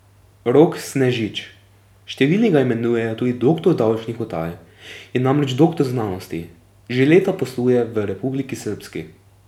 Rok Snežič, številni ga imenujejo tudi doktor davčnih utaj, je namreč doktor znanosti, že leta posluje v Republiki Srbski.